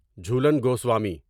Jhulan Goswami